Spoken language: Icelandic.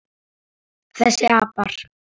Þessir apar!